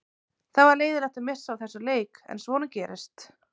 Það var leiðinlegt að missa af þessum leik en svona gerist.